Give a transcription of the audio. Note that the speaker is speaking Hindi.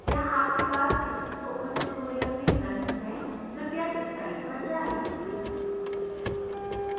क्या आपके पास इस spoken tutorial में प्रश्न हैं कृपया इस साइट पर जाएँ